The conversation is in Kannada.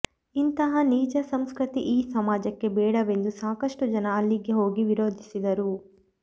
ಇಂತಹ ನೀಚ ಸಂಸ್ಕೃತಿ ಈ ಸಮಾಜಕ್ಕೆ ಬೇಡವೆಂದು ಸಾಕಷ್ಟು ಜನ ಅಲ್ಲಿಗೆ ಹೋಗಿ ವಿರೋದಿಸಿದರು